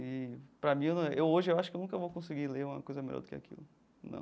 E, para mim, eu hoje eu acho que nunca vou conseguir ler uma coisa melhor do que aquilo, não.